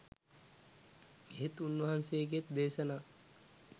එහෙත් උන්වහන්සේගේත් දේශනා